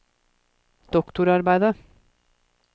doktorarbeidet